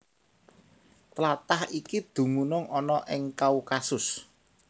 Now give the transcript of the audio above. Tlatah iki dumunung ana ing Kaukasus